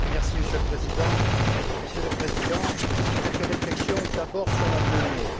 Monsieur le Président, Messieurs les Présidents, quelques réflexions d'abord sur la monnaie.